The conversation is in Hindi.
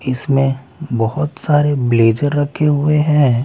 इसमें बहुत सारे ब्लेजर रखे हुए हैं।